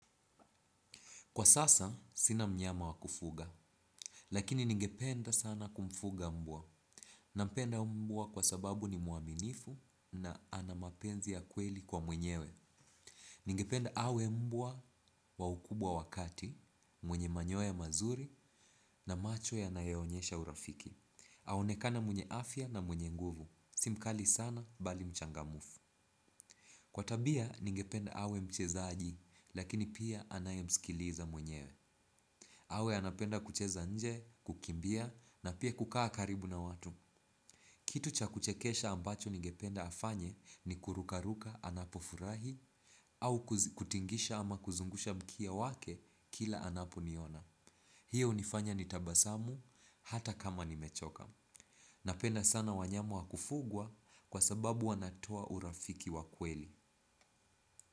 Kwa sasa, sina mnyama wa kufuga, lakini ningependa sana kumfuga mbwa. Nampenda mbwa kwa sababu ni muaminifu na ana mapenzi ya kweli kwa mwenyewe. Ningependa awe mbwa wa ukubwa wa kati, mwenye manyoya mazuri na macho yanayo onyesha urafiki. Aonekane mwenye afya na mwenye nguvu. Si mkali sana bali mchangamfu. Kwa tabia, ningependa awe mchezaji, lakini pia anayemsikiliza mwenyewe. Awe anapenda kucheza nje, kukimbia na pia kukaa karibu na watu. Kitu cha kuchekesha ambacho nigependa afanye ni kurukaruka anapofurahi au kutingisha ama kuzungusha mkia wake kila anapo niona. Hiyo hunifanya ni tabasamu hata kama nimechoka. Napenda sana wanyama wa kufugwa kwa sababu wanatoa urafiki wa kweli.